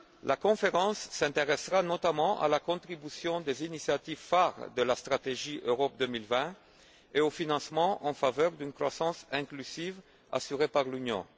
La conférence s'intéressera notamment à la contribution des initiatives phares de la stratégie Europe 2020 et au financement en faveur d'une croissance inclusive assurée par l'Union.